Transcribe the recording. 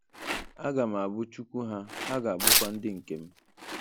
A ga m Abu Chukwu ha, ha ga abukwa ndị nke m.